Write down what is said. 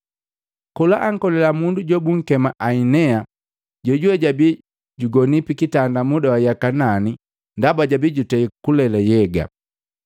Kola ankolila mundu jumu jobunkema Ainea jojuwe jabi jugoni pikitanda muda wa yaka nani ndaba jabi jutei kulela nhyega.